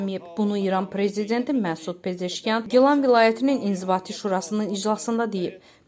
Bunu İran prezidenti Məsud Pezeşkiyan Gilan vilayətinin inzibati şurasının iclasında deyib.